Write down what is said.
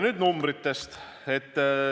Nüüd numbritest.